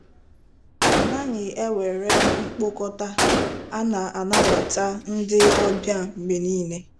A naghị ewere mkpokọta, a na-anabata ndị ọbịa mgbe niile.